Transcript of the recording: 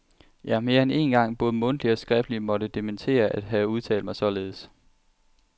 Jeg har mere end én gang både mundtligt og skriftligt måtte dementere at have udtalt mig således.